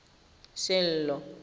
sello